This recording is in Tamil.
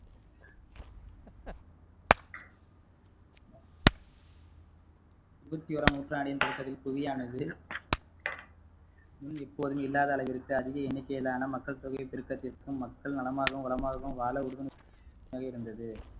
இருபத்தோராம் நூற்றாண்டின் முன் எப்போதும் இல்லாத அளவிற்கு அதிக எண்ணிக்கையிலான மக்கள் தொகை பெருக்கத்திற்கும் மக்கள் நலமாகவும் வளமாகவும் வாழ உறுதுணையாக இருந்தது